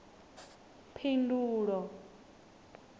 phindulo